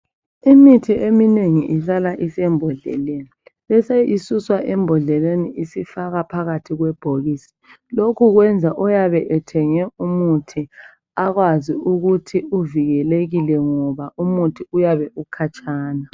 Imithi eminengi ihlala isembodleleni. Bese isuswa embodleleni isifakwa phakathi kwebhokisi, lokhu kwenza oyabe ethenge umuthi akwazi ukuthi uvikelekile ngoba umuthi uyabe ukhatshana.